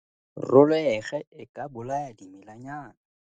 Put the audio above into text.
Roloege e e ka bolaya dimelanyana.